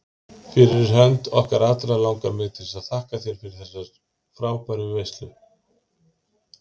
Fyrir hönd okkar allra langar mig til að þakka þér fyrir þessa frábæru veislu.